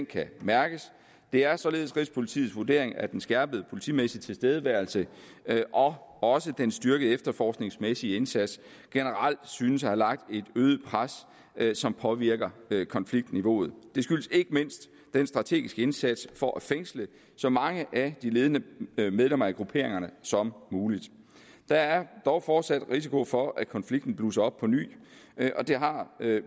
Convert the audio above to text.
kan mærkes det er således rigspolitiets vurdering at den skærpede politimæssige tilstedeværelse og også den styrkede efterforskningsmæssige indsats generelt synes at have lagt et øget pres som påvirker konfliktniveauet det skyldes ikke mindst den strategiske indsats for at fængsle så mange af de ledende medlemmer af grupperingerne som muligt der er dog fortsat risiko for at konflikten blusser op på ny det har